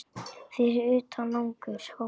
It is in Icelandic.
Fyrir utan langur gangur.